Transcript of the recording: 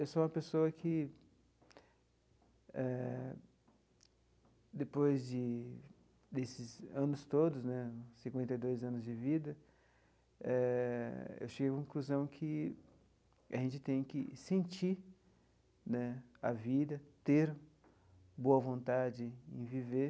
Eu sou uma pessoa que eh, depois de desses anos todos né, cinquenta e dois anos de vida, eh eu chego à conclusão que a gente tem que sentir né a vida, ter boa vontade em viver.